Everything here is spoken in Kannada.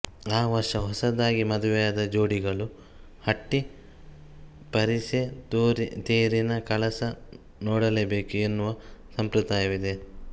ಆ ವರ್ಷ ಹೊಸದಾಗಿ ಮದುವೆಯಾದ ಜೋಡಿಗಳು ಹಟ್ಟಿ ಪರಿಸೆ ತೇರಿನ ಕಳಸ ನೋಡಲೇಬೇಕು ಎನ್ನುವ ಸಂಪ್ರದಾಯವಿದೆ